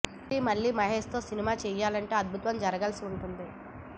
మైత్రీ మళ్లీ మహేష్ తో సినిమా చేయాలంటే అద్భుతం జరగాల్సి వుంటుంది